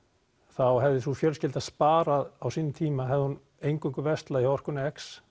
þá hefði sú fjölskylda sparað á sínum tíma hefði hún eingöngu verslað hjá orkunni